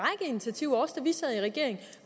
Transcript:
initiativer også da vi sad i regering